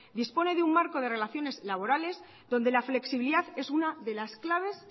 dispone de un marco de relaciones laborales donde la flexibilidad es una de las claves